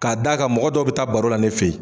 K'a d'a kan mɔgɔ dɔw bɛ taa baro la ne fɛ yen